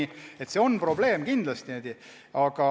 Nii et see on probleem kindlasti.